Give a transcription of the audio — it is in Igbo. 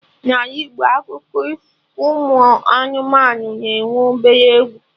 Na Ala Igbo akụkọ ụmụ anụmanụ na-enwe obere egwu